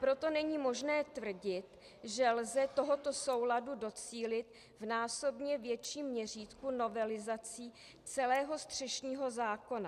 Proto není možné tvrdit, že lze tohoto souladu docílit v násobně větším měřítku novelizací celého střešního zákona.